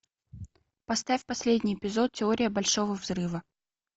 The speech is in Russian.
поставь последний эпизод теория большого взрыва